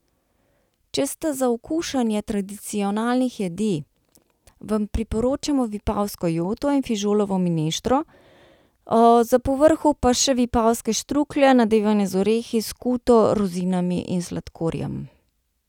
Če sta za okušanje tradicionalnih jedi, vam priporočamo vipavsko joto in fižolovo mineštro, za povrhu pa še vipavske štruklje, nadevane z orehi, skuto, rozinami in sladkorjem.